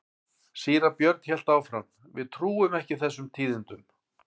Síra Björn hélt áfram:-Við trúum ekki þessum tíðindum.